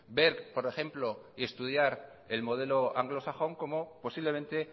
ver por ejemplo y estudiar el modelo anglosajón como posiblemente